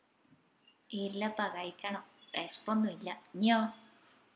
ഇല്ലപ്പാ കഴിക്കണം വിശപ്പൊന്നുല്ല ഇഞ്ഞിയോ